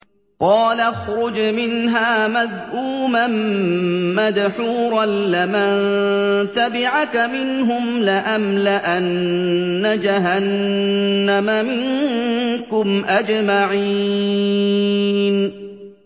قَالَ اخْرُجْ مِنْهَا مَذْءُومًا مَّدْحُورًا ۖ لَّمَن تَبِعَكَ مِنْهُمْ لَأَمْلَأَنَّ جَهَنَّمَ مِنكُمْ أَجْمَعِينَ